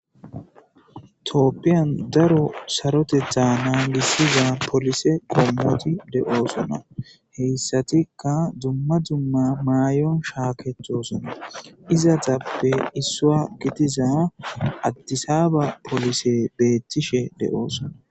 Tooppiyan daro sarotetha nan gissiza polise qommoti de'oosona heyssatikka dumma dzumma maayon shaakecthcthosona izatappe issua gitiza addisaaba polise beettishe deoosona.